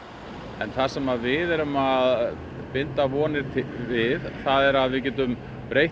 en það sem við erum að binda vonir við er að við getum breytt